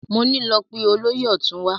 Mo ní lọ pe olóyè ọ̀tún wá!